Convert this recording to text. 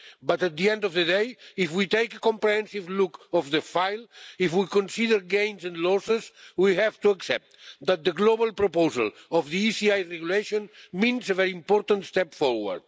But at the end of the day if we take a comprehensive look at the file, if we consider gains and losses, we have to accept that the global proposal of the ECI regulations means a very important step forward.